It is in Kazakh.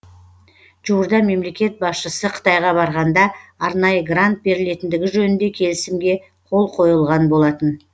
жуырда мемлекет басшысы қытайға барғанда арнайы грант берілетіндігі жөнінде келісімге қол қойылған болатын